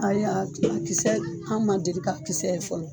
Ayi a kisɛ an ma deli k'a kisɛ ye fɔlɔ.